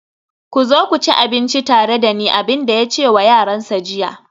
ku zo ku ci abinci tare da ni, abin da ya ce wa yaransa jiya